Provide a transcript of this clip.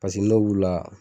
Paseke n'o b'u la.